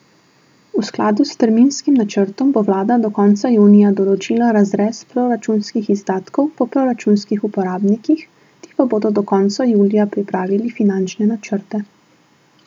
V skladu s terminskim načrtom bo vlada do konca junija določila razrez proračunskih izdatkov po proračunskih uporabnikih, ti pa bodo do konca julija pripravili finančne načrte.